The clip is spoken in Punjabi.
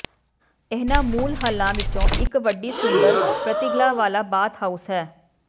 ਇਹਨਾਂ ਮੂਲ ਹੱਲਾਂ ਵਿੱਚੋਂ ਇੱਕ ਵੱਡੀ ਸੁੰਦਰ ਪ੍ਰਤੀਗਲਾ ਵਾਲਾ ਬਾਥਹਾਊਸ ਹੈ